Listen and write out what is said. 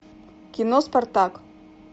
кино спартак